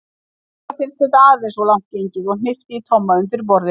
Nikka fannst þetta aðeins of langt gengið og hnippti í Tomma undir borðinu.